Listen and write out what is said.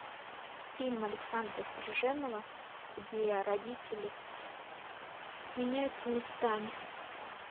фильм александра стриженова где родители меняются местами